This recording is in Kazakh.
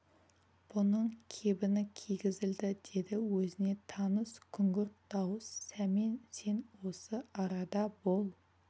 бұның кебіні кигізілді деді өзіне таныс күңгірт дауыс сәмен сен осы арада бол